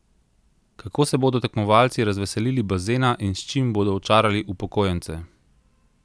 Kako se bodo tekmovalci razveselili bazena in s čim bodo očarali upokojence?